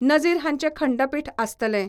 नजीर हांचे खंडपिठ आसतलें.